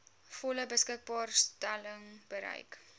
volle beskikbaarstelling bereik